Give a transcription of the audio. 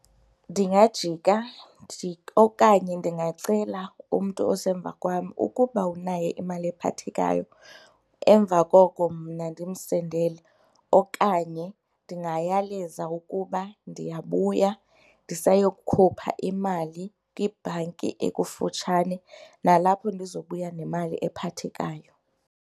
Ndingajika okanye ndingacela umntu osemva kwam ukuba unayo imali ephathekayo emva koko mna ndimsendele okanye ndingayaleza ukuba ndiyabuya, ndisayokukhupha imali kwibhanki ekufutshane nalapho ndizobuya nemali ephathekayo.